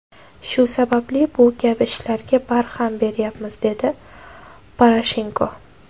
Shu sababli bu kabi ishlarga barham beryapmiz”, dedi Poroshenko.